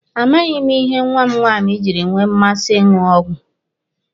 A maghị ihe nwa m nwaanyi jiri nwee mmasị ịṅụ ọgwụ.